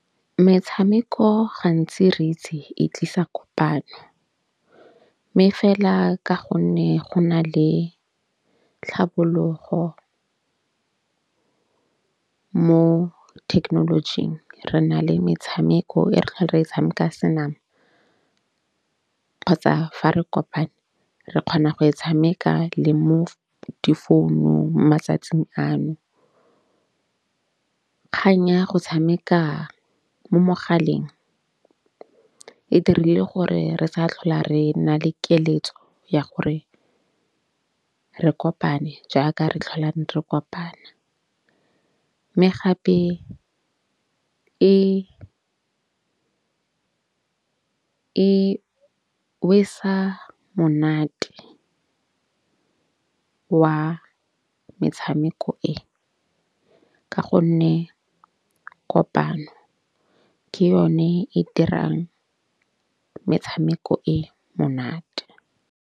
Metshameko gantsi re itse e tlisa kopano. Mme fela ka gonne go na le tlhabologo mo thekenolojing re na le metshameko e re re e tshameka senama kgotsa fa re kopane, re kgona go e tshameka le mo difounung matsatsing ano. Kgang ya go tshameka mo mogaleng e dirile gore re sa tlhola re na le keletso ya gore re kopane jaaka re tlholang re kopana. Mme gape e e monate wa metshameko e. Ka gonne kopano ke yone e dirang metshameko e monate.